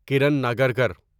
Karan Nagarkar